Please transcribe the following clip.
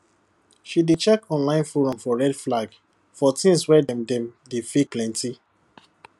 she dey check online forum for red flag for things wey dem dem dey fake plenty